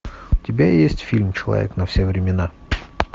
у тебя есть фильм человек на все времена